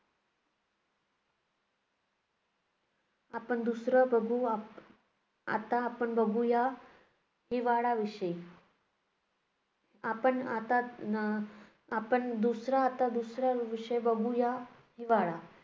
आपण दुसरं बघू, आप~ आता आपण बघूया हिवाळ्याविषयी. आपण आता अं आपण दुसरा आता दुसरा विषय बघूया हिवाळा.